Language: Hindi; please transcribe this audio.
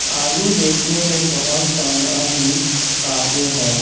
आलू देखने में बहुत सारा ही ताजे हैं।